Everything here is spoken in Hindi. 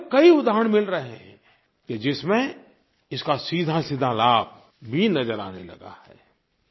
ऐसे तो कई उदाहरण मिल रहे हैं कि जिसमें इसका सीधासीधा लाभ भी नज़र आने लगा है